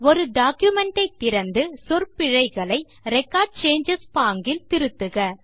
ஒரு டாக்குமென்ட் ஐ திறந்து சொற்பிழைகளை ரெக்கார்ட் சேஞ்சஸ் பாங்கில் திருத்துக